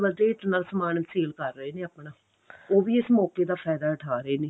double rate ਨਾਲ ਸਮਾਨ sale ਕਰ ਰਹੇ ਨੇ ਆਪਣਾ ਉਹ ਵੀ ਇਸ ਮੋਕੇ ਦਾ ਫਾਇਦਾ ਉਠਾ ਰਹੇ ਨੇ